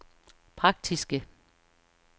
praktiske